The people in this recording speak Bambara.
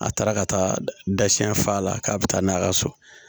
A taara ka taa da siɲɛ f'a la k'a bɛ taa n'a ka so